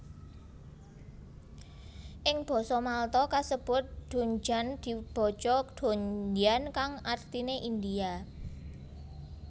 Ing basa Malta kasebut dundjan dibaca dondyan kang artiné India